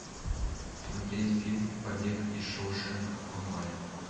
смотреть фильм побег из шоушенка онлайн